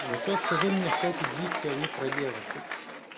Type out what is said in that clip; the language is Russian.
ещё скажи мне что эти гифки они про девочек